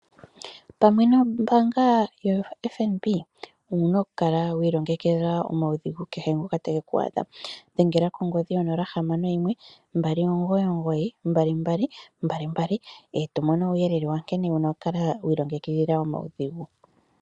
Pamwe nombaanga yo FNB owuna ku kala wiilongekidha omaudhigu kehe ngoka tage ku adha dhengela kongodhi yo 0612992222 eto mono uuyelele wa nkene wuna oku kala wiilongekidhila omaudhigu